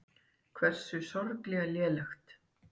Hversu sorglega lélegt.